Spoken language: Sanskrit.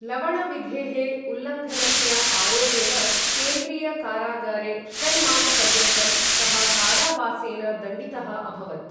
लवण विधेः उल्लङ्घनस्य आरोपेण, केन्द्रीय कारागारे षण्मासपर्यन्तं सः कारावासेन दण्डितः अभवत्।